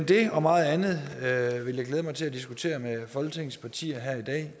det og meget andet vil jeg glæde mig til at diskutere med folketingets partier her i dag